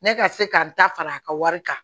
Ne ka se ka n ta fara a ka wari kan